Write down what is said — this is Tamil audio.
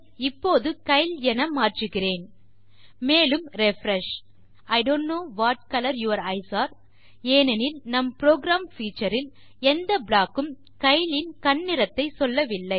இப்போது கைல் என மாற்றுகிறேன் மேலும் refresh I don't know what colour your eyes are ஏனெனில் நம் புரோகிராம் பீச்சர் இல் எந்த ப்ளாக் க்கும் கைல் இன் கண் நிறத்தை சொல்லவில்லை